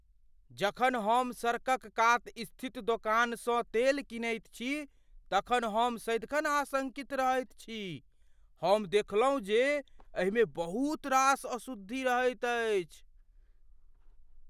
जखन हम सड़कक कात स्थित दोकानसँ तेल कीनैत छी तखन हम सदिखन आशंकित रहैत छी। हम देखलहुँ जे एहिमे बहुत रास अशुद्धि रहैत अछि।